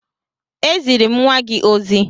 E ziri m nnwa gị ozi